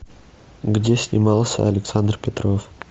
где снимался александр петров